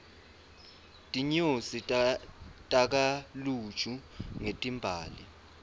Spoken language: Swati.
tinyosi takha luju ngetimbali